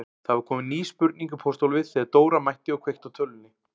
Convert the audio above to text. Það var komin ný spurning í pósthólfið þegar Dóra mætti og kveikti á tölvunni.